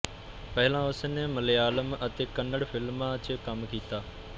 ਪਹਿਲਾਂ ਉਸ ਨੇ ਮਲਿਆਲਮ ਅਤੇ ਕੰਨੜ ਫ਼ਿਲਮਾਂ ਚ ਕੰਮ ਕੀਤਾ